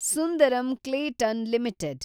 Sundaram Clayton limited